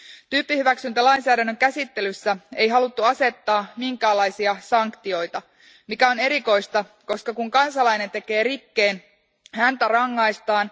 Tyyppihyväksyntälainsäädännön käsittelyssä ei haluttu asettaa minkäänlaisia sanktioita, mikä on erikoista, koska kun kansalainen tekee rikkeen, häntä rangaistaan.